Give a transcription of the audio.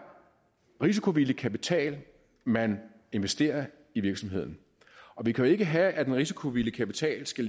risikovillig kapital man investerer i virksomheden vi kan jo ikke have at en risikovillig kapital skal